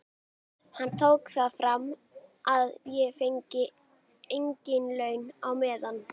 Hann tók það fram að ég fengi engin laun á meðan.